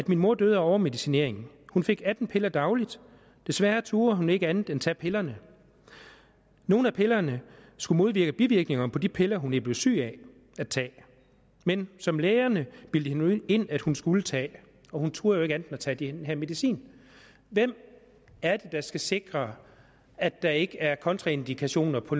min mor døde af overmedicinering hun fik atten piller dagligt desværre turde hun ikke andet end at tage pillerne nogle af pillerne skulle modvirke bivirkninger på de piller hun blev syg af at tage men som lægerne bildte hende ind at hun skulle tage og hun turde jo ikke andet end at tage den her medicin hvem er det der skal sikre at der ikke er kontraindikationer på